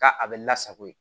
Ka a bɛ lasago yen